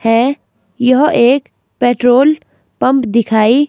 है यह एक पेट्रोल पंप दिखाई--